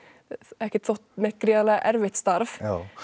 ekkert þótt neitt gríðarlega erfitt starf